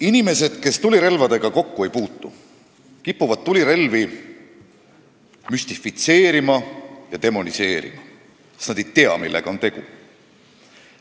Inimesed, kes tulirelvadega kokku ei puutu, kipuvad tulirelvi müstifitseerima ja demoniseerima, sest nad ei tea, millega on tegu.